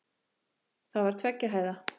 Það var tveggja hæða.